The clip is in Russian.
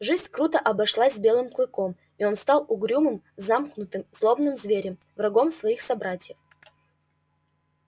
жизнь круто обошлась с белым клыком и он стал угрюмым замкнутым злобным зверем врагом своих собратьев